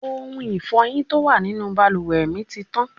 Ohun Ifọ́yín tó wà nínú bàlùwẹ̀ mi ti tán.